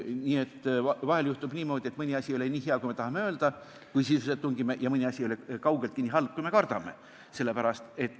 Nii et vahel juhtub niimoodi, et mõni asi ei ole nii hea, kui me tahaksime, kui sisusse tungida, ja mõni asi ei ole kaugeltki nii halb, kui me kardame.